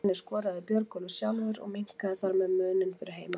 Úr henni skoraði Björgólfur sjálfur og minnkaði þar með muninn fyrir heimamenn.